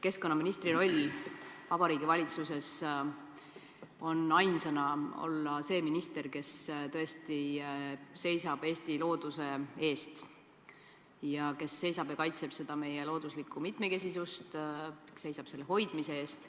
Keskkonnaministri roll Vabariigi Valitsuses on olla ainsana see minister, kes tõesti seisab Eesti looduse eest, kaitseb meie looduslikku mitmekesisust ja seisab selle hoidmise eest.